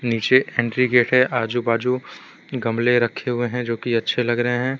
नीचे entry gate है आजू बाजू गमले रखें हुए हैं जो की अच्छे लग रहें हैं।